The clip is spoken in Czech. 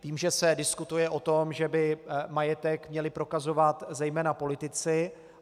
Vím, že se diskutuje o tom, že by majetek měli prokazovat zejména politici.